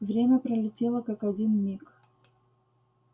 время пролетело как один миг